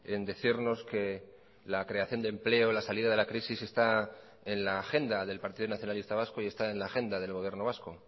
en decirnos que la creación de empleo la salida de la crisis está en la agenda del partido nacionalista vasco y está en la agenda del gobierno vasco